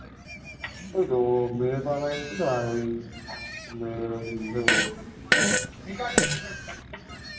ঐতো মেয়ের বাবা এসেছিলো আর ওই মেয়ের ওই